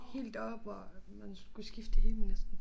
Helt deroppe hvor man skulle skifte det hele næsten